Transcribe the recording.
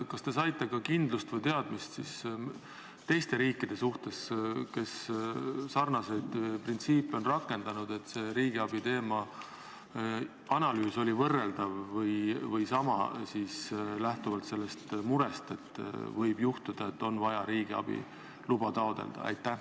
Kas te saite ka kindlust või teadmist teiste riikide suhtes, kes sarnaseid printsiipe on rakendanud, et see riigiabiteema analüüs oli võrreldav või sama, lähtuvalt sellest murest, et võib juhtuda, et on vaja riigiabi luba taotleda?